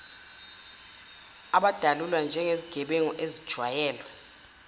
abadalulwa njengezigebengu ezijwayele